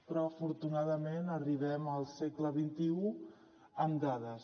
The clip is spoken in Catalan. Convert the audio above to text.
però afortunadament arribem al segle xxi amb dades